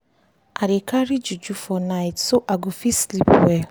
i dey carry juju for night so i go fit sleep well